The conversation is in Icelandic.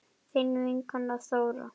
Þín vinkona Þóra.